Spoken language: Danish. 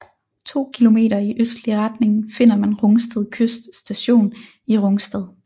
To kilometer i østlig retning finder man Rungsted Kyst Station i Rungsted